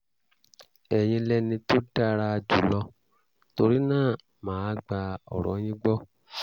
ẹ̀yin lẹni tó dára jùlọ torí náà mà á gba ọ̀rọ̀ yín gbọ́